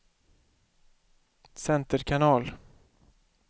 center kanal